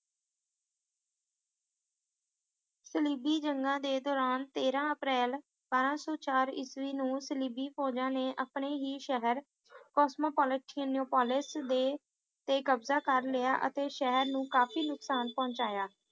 ਸਲੀਬੀ ਜੰਗਾਂ ਦੇ ਦੌਰਾਨ ਤੇਰਾਂ ਅਪ੍ਰੈਲ ਬਾਰਾਂ ਸੌ ਚਾਰ ਇਸਵੀਂ ਨੂੰ ਸਲਿਬਿਨ ਫੌਜਾਂ ਨੇ ਆਪਣੇ ਹੀ ਸ਼ਹਿਰ ਕੋਸਮੋਪੋਲਾਟੀਨ ਨੋਪੋਲਿਸ ਦੇ ਤੇ ਕਬਜ਼ਾ ਕਰ ਲਿਆ ਅਤੇ ਸ਼ਹਿਰ ਨੂੰ ਕਾਫੀ ਨੁਕਸਾਨ ਪਹੁੰਚਾਇਆ